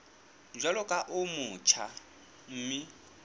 jwalo ka o motjha mme